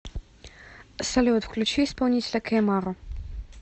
салют включи исполнителя кей маро